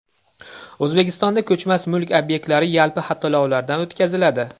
O‘zbekistonda ko‘chmas mulk obyektlari yalpi xatlovdan o‘tkaziladi.